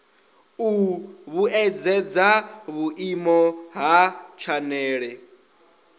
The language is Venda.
u vhuedzedza vhuimo ha tshanele